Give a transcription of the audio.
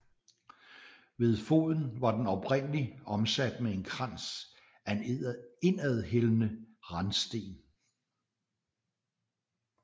Ved foden var den oprindelig omsat med en krans af indadhældende randsten